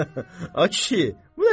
Ay kişi, bu nə sözdür?